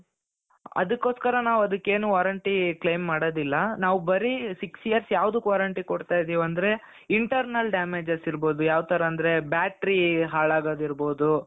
ಅದಕ್ಕೋಸ್ಕರ ನಾವ್ ಅದಕ್ಕೇನು warranty claim ಮಾಡದಿಲ್ಲ ನಾವ್ ಬರೀ six years ಯಾವ್ದುಕ್ warranty ಕೊಡ್ತಾ ಇದ್ದೀವಿ ಅಂದ್ರೆ internal damages ಇರ್ಬಹುದು ಯಾವ್ ತರ ಅಂದ್ರೆ battery ಹಾಳಾಗೋದಿರ್ಬಹುದು.